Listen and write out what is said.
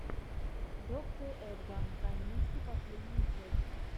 доктэ эдга камински последняя часть